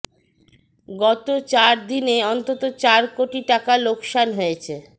গত চার দিনে অন্তত চার কোটি টাকা লোকসান হয়েছে